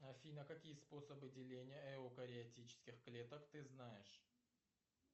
афина какие способы деления эукариотических клеток ты знаешь